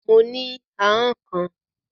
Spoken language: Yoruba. Mo ní ahọ́n kan